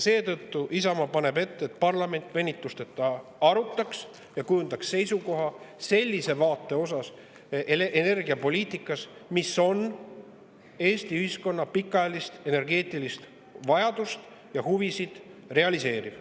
Seetõttu paneb Isamaa ette, et parlament arutaks seda venitusteta ja kujundaks seisukoha selle vaate suhtes, milline on energiapoliitika, mis on Eesti ühiskonna pikaajalist energeetilist vajadust ja huvisid realiseeriv.